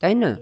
তাই না?